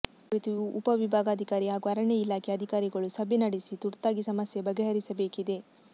ಈ ಕುರಿತು ಉಪ ವಿಭಾಗಾಧಿಕಾರಿ ಹಾಗೂ ಅರಣ್ಯ ಇಲಾಖೆ ಅಧಿಕಾರಿಗಳು ಸಭೆ ನಡೆಸಿ ತುರ್ತಾಗಿ ಸಮಸ್ಯೆ ಬಗೆಹರಿಸಬೇಕಿದೆ